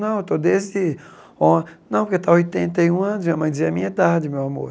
Não, eu estou desde o... Não, porque está oitenta e um anos e minha mãe dizia é a minha idade, meu amor.